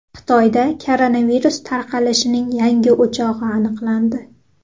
Xitoyda koronavirus tarqalishining yangi o‘chog‘i aniqlandi.